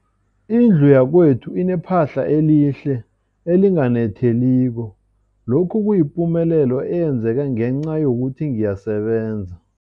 Indlu yakwethu inephahla elihle, elinganetheliko, lokhu kuyipumelelo eyenzeke ngenca yokuthi ngiyasebenza.